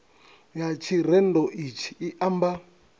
ya tshirendo itshi i amba